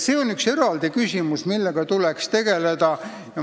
See on üks eraldi küsimus, millega tuleks tegeleda.